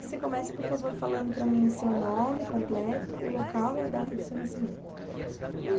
que você comece, por favor, falando para mim o seu nome completo, o local e a data do seu nascimento.